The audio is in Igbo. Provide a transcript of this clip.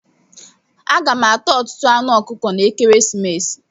Aga m ata ọtụtụ anụ ọkụkọ n'ekeresimesi a.